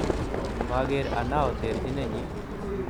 Maker Anao terchinenyi